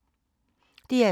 DR2